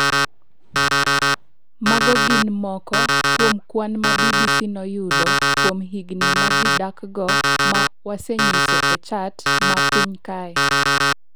Mago gin moko kuom kwan ma BBC noyudo kuom higni ma ji dakgo, ma wasenyiso e chat ma piny kae.